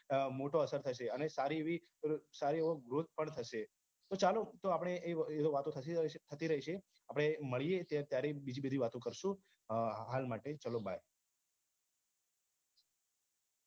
મોટો અસર થશે અને સારી એવી સારો એવો growth પણ થશે તો ચાલો એ આપણે એ વાતો થતી રહેશે આપણે મળીયે ત્યારે બીજી બધી વાતો કરશું હાલ માટે ચલો bye